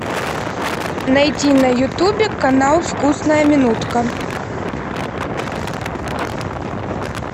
найти на ютубе канал вкусная минутка